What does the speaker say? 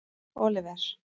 Oliver